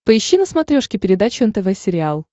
поищи на смотрешке передачу нтв сериал